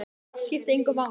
Það skiptir engu máli!